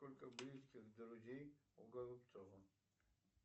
сколько близких друзей у голубцова